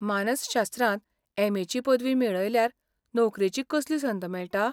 मानसशास्त्रांत एम.ए. ची पदवी मेळयल्यार नोकरेची कसली संद मेळटा?